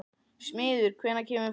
Smiður, hvenær kemur fimman?